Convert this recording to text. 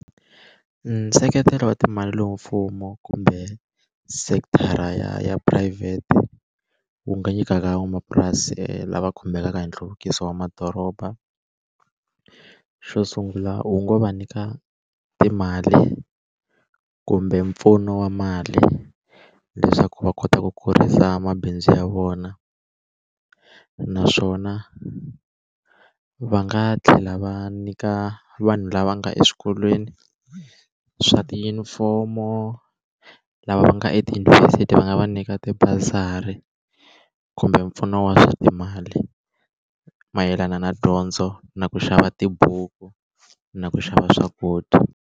Nseketelo wa timali lowu mfumo kumbe sekithara ya phurayivhete wu nga nyikaka van'wamapurasi lava khumbekaka hi nhluvukiso wa madoroba xo sungula wu ngo va nyika timali kumbe mpfuno wa mali leswaku va kota ku kurisa mabindzu ya vona naswona va nga tlhela va nyika vanhu lava nga eswikolweni swa tiyunifomo lava va nga etiyunivhesiti va nga va nyika tibazari kumbe mpfuno wa swa timali mayelana na dyondzo na ku xava tibuku na ku xava swakudya.